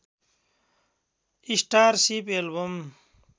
starship album